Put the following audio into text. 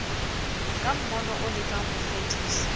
ka mmono o lekang hofedisa